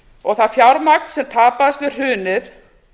og það fjármagn sem tapaðist við hrunið